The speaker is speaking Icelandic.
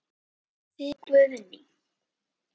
Þyri og Guðni.